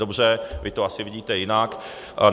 Dobře, vy to asi vidíte jinak.